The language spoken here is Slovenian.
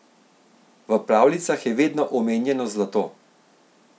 V pravljicah je vedno omenjeno zlato.